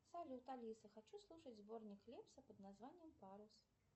салют алиса хочу слушать сборник лепса под названием парус